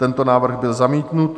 Tento návrh byl zamítnut.